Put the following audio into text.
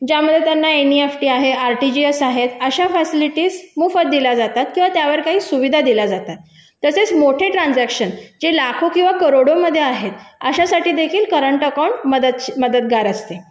पण जर यामध्ये इतर काही फॅसिलिटी बँक अशा ग्राहकांना देते ज्यामध्ये त्यांना एनईएफटी आहे आर डी जी एफ आहे अशा फॅसिलिटी मोफत दिल्या जातात किंवा त्यावर काही सुविधा दिल्या जातात तसेच मोठे ट्रांजेक्शन जे लाखो किंवा करोडो मध्ये असतात अशासाठी देखील करंट अकाउंट मदतगार असते